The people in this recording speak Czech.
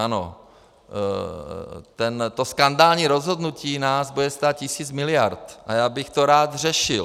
Ano, to skandální rozhodnutí nás bude stát tisíc miliard a já bych to rád řešil.